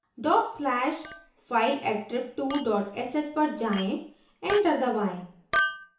dot slash fileattrib2 dot sh पर जाएँ enter दबाएं